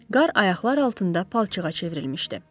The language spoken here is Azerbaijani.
Qar ayaqlar altında palçığa çevrilmişdi.